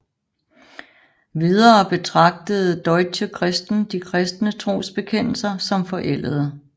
Videre betragtede Deutsche Christen de kristne trosbekendelser som forældede